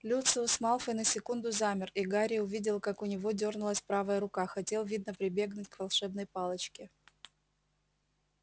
люциус малфой на секунду замер и гарри увидел как у него дёрнулась правая рука хотел видно прибегнуть к волшебной палочке